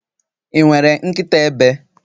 Ị nwere nkịta ebe?